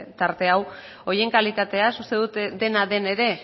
tarte hau horien kalitateaz uste dut dena den ere